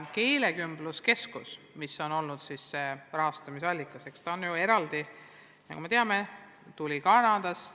Keelekümbluskeskus, mis on olnud see rahastamise allikas, on ju toetust saanud Kanadast.